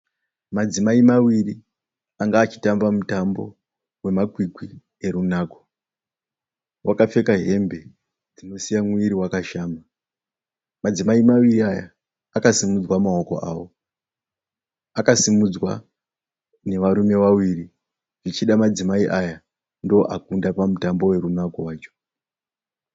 Madzimai mawiri anga achitamba mutambo wemakwikwi erunako. Vakapfeka hembe dzinosiya muviri wakashama. Madzimai maviri aya akasimudzwa maoko awo. Akasimudzwa nevarume vaviri. Zvichida madzimai aya ndoo akunda pamutambo werunako wacho.